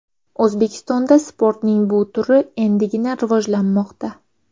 O‘zbekistonda sportning bu turi endigina rivojlanmoqda.